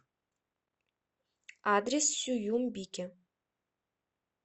адрес сююмбике